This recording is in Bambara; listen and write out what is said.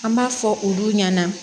An b'a fɔ olu ɲɛna